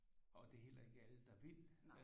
Og det er heller ikke alle der vil